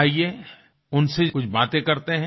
आइये उनसे कुछ बाते करते हैं